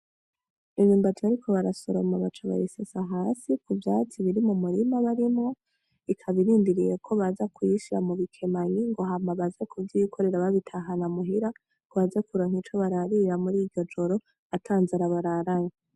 Imyumbati bariko bara soroma baca bayisesa hasi ku vyatsi biri murima barimwo ikaba irindiriye kobaza kuyishira mubikemanyi hama ngo baze kuvyikorera babitahana muhira ngobaze kuronka ico bararira mur'iryo joro ata nzara bararanye.